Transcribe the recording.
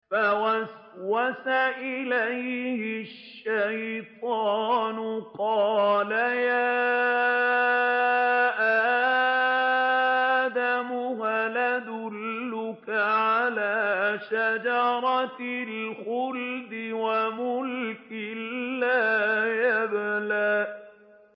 فَوَسْوَسَ إِلَيْهِ الشَّيْطَانُ قَالَ يَا آدَمُ هَلْ أَدُلُّكَ عَلَىٰ شَجَرَةِ الْخُلْدِ وَمُلْكٍ لَّا يَبْلَىٰ